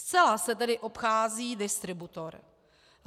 Zcela se tedy obchází distributor.